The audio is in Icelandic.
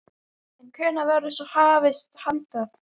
En hvenær verður svo hafist handa?